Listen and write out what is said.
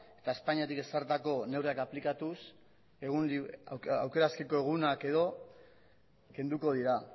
eta espainiatik ezarritako neurriak aplikatuz aukera askeko egunak edo kenduko dira